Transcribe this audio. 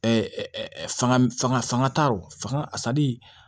fanga fanga fanga t'a rɔ fanga a sari